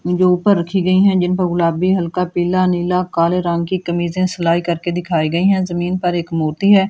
ये जो ऊपर रखी गई है जिन पर गुलाबी हल्का पीला नीला काले रंग की कमीजे सिलाई करके दिखाई गई है। जमीन पर एक मूर्ति है।